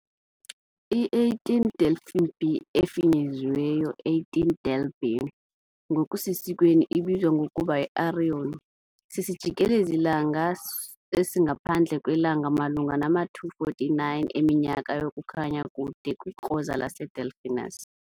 I-18 Delphini b, efinyeziweyo 18 Del b, ngokusesikweni ebizwa ngokuba yiArion, sisijikelezi -langa esingaphandle kwelanga malunga nama -249 eminyaka yokukhanya kude kwikroza laseDelphinus.